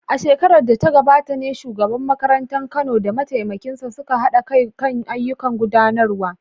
A shekarar da ta gabata ne shugaban makarantar Kano da mataimakinsa suka haɗa kai kan ayyukan gudanarwa.